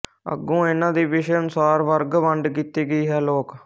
ਅਗੋਂ ਇਹਨਾਂ ਦੀ ਵਿਸ਼ੇ ਅਨੁਸਾਰ ਵਰਗ ਵੰਡ ਕੀਤੀ ਗਈ ਹੈ ਲੋਕ